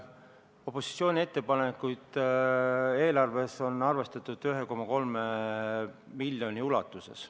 Opositsiooni ettepanekuid on eelarves arvestatud 1,3 miljoni euro ulatuses.